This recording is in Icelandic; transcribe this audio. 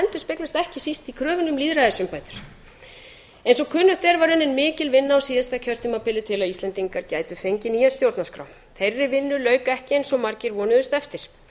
endurspeglast ekki síst í kröfunni um lýðræðisumbætur eins og kunnugt er var lögð mikil vinna á síðasta kjörtímabili til að íslendingar gætu fengið nýja stjórnarskrá þeirri vinnu lauk ekki eins og margir vonuðust eftir